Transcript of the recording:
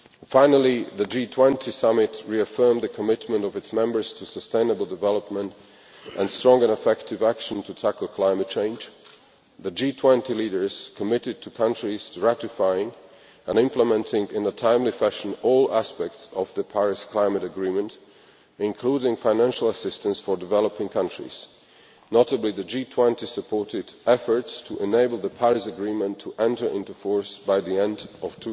Finally, the G20 Summit reaffirmed the commitment of its members to sustainable development and strong and effective action to tackle climate change. The G20 leaders are committed to countries' ratifying and implementing in a timely fashion all aspects of the Paris climate agreement, including financial assistance for developing countries. In particular, the G20 supported efforts to enable the Paris Agreement to enter into force by the end